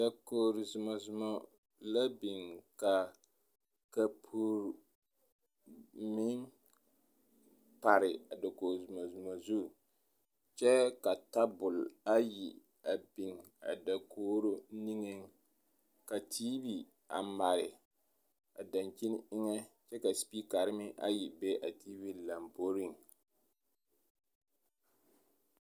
Dakogiri zumazuma la biŋ ka kapuri meŋ pare a dakogiri zumazuma zu kyɛ ka tabol ayi a biŋ a dakogiri niŋeŋ ka TV a mare a dankyini eŋɛ kyɛ ka sipikare meŋ ayi be a TV lomboriŋ.